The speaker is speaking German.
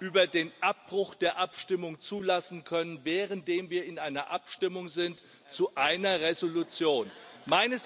über den Abbruch der Abstimmung zulassen können, währenddem wir in einer Abstimmung zu einer Entschließung sind?